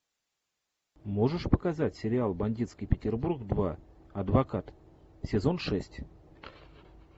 можешь показать сериал бандитский петербург два адвокат сезон шесть